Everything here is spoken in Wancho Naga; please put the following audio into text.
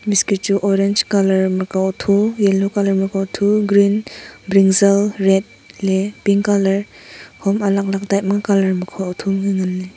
biscuit chu ma ka otho yellow colour maka otho green brinjal red ley pink colour hom type ma colour makha otho nganley.